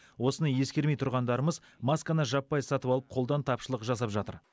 осыны ескермей тұрғандарымыз масканы жаппай сатып алып қолдан тапшылық жасап жатыр